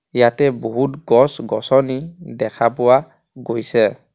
ইয়াতে বহুত গছ গছনী দেখা পোৱা গৈছে.